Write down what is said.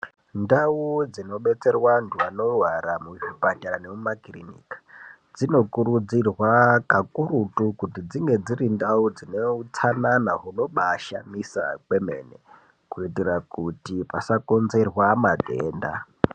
Ndau dzinobetserwa antu anorwara, muzvipatara nekumakirinika, dzinokurudzirwa kakurutu kuti dzinge dziri ndau dzine utsanana hunobaashamisa kwemene, kuitira kuti pasakonzerwa matenda.